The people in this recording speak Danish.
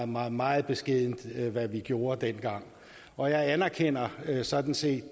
meget meget beskedent hvad vi gjorde dengang og jeg anerkender sådan set